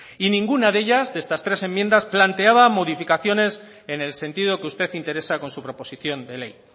y ninguna de ellas de estas tres enmiendas planteaba modificaciones en el sentido que usted interesa con su proposición de ley